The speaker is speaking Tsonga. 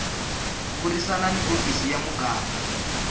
burisana ni hofisi ya muganga